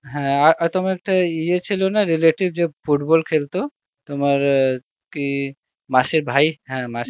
হ্যাঁ আর তোমার একটা ইয়ে ছিল না রিলেটিভ যে ফুটবল খেলত? তোমার কি মাসি ভাই হা মাসির